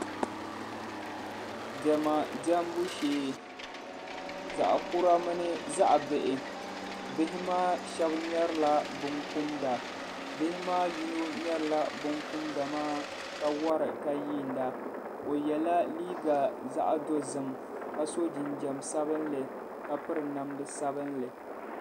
Dɛma dɛmbu shee zaɣa kura mini zaɣa bihi bihi maa sheba ŋmeri la bin kumda bihi maa so ŋmeri la bin kumda maa ka wara ka yiina o yɛla liiga zaɣa dozim ka so jinjam sabinli ka piri namda sabinli.